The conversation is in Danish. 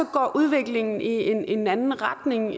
går udviklingen i en anden retning